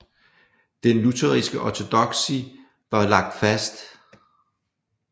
Den lutherske ortodoksi var lagt fast